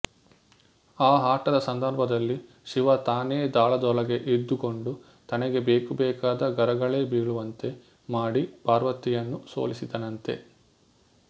ಆ ಆಟದ ಸಂದರ್ಭದಲ್ಲಿ ಶಿವ ತಾನೇ ದಾಳದೊಳಗೆ ಇದ್ದುಕೊಂಡು ತನಗೆ ಬೇಕುಬೇಕಾದ ಗರಗಳೇ ಬೀಳುವಂತೆ ಮಾಡಿ ಪಾರ್ವತಿಯನ್ನು ಸೋಲಿಸಿದನಂತೆ